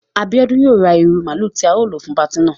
Abiodun yóò ra ìru máálu ti ao lo fun pàti náà